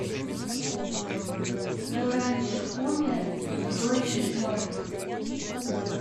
кто раньше умер тот дольше мертв